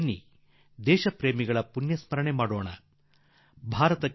ಬನ್ನಿ ಸ್ವಾತಂತ್ರ್ಯದ ಮಹಾನ್ ಚೇತನಗಳ ಪುಣ್ಯಸ್ಮರಣೆ ಮಾಡೋಣ ಎಂದು ನಾನು ನಿಮಗೆ ಆಹ್ವಾನ ನೀಡುವೆ